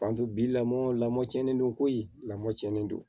bi lamɔ lamɔ cɛnnen don koyi lamɔ cɔnnen do